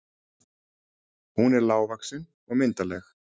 Hún er lágvaxin og myndarleg.